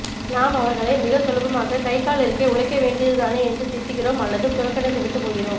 நாம் அவர்களை மிக சுலபமாக கைகால் இருக்கே உழைக்க வேண்டியதுதானே என்று திட்டுகிறோம் அல்லது புறக்கணித்து விட்டுப் போகிறோம்